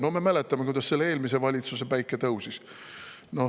No me mäletame, kuidas eelmisel valitsusel päike tõusis.